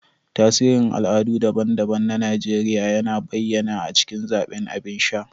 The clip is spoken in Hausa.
Tasirin al'adu daban-daban na Najeriya yana bayyana a cikin zaɓin abin sha.